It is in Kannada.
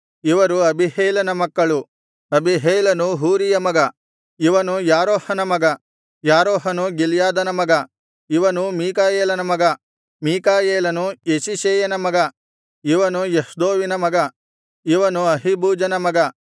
ಇವರು ಅಬೀಹೈಲನ ಮಕ್ಕಳು ಅಬೀಹೈಲನು ಹೂರೀಯ ಮಗ ಇವನು ಯಾರೋಹನ ಮಗ ಯಾರೋಹನು ಗಿಲ್ಯಾದನ ಮಗ ಇವನು ಮೀಕಾಯೇಲನ ಮಗ ಮೀಕಾಯೇಲನು ಯೆಷೀಷೈಯನ ಮಗ ಇವನು ಯಹ್ದೋವಿನ ಮಗ ಇವನು ಅಹೀಬೂಜನ ಮಗ